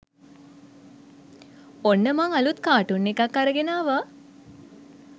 ඔන්න මං අලුත් කා‍ටුන් එකක් අරගෙන ආවා